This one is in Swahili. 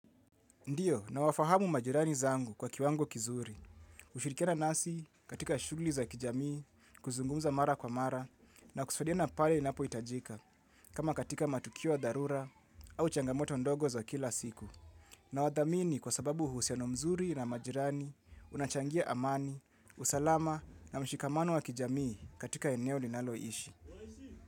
Ndiyo nawafahamu majirani zangu kwa kiwango kizuri. Hushirikiana nasi katika shughuli za kijamii, kuzungumza mara kwa mara na kusaidiana pale inapohitajika kama katika matukio wa dharura au changamoto ndogo za kila siku. Nawadhamini kwa sababu uhusiano mzuri na majirani, unachangia amani, usalama na mshikamano wa kijamii katika eneo ninalo ishi.